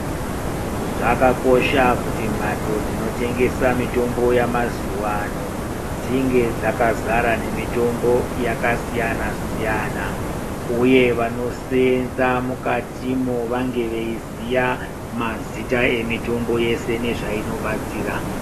Zvakakosha kuti mhatso dzinotengesa mitombo yemazuwa ano dzinge dzakazara nemitombo yakasiyana siyana uye vanosenza mukatimwo vange veiziya mazita emitombl yeshe nezvainobatsira.